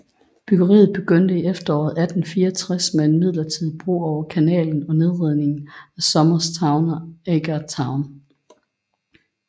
Byggeriet begyndte i efteråret 1864 med en midlertidig bro over kanalen og nedrivningen af Somers Town og Agar Town